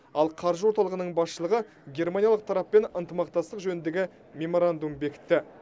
ал қаржы орталығының басшылығы германиялық тараппен ынтымақтастық жөніндегі меморандум бекітті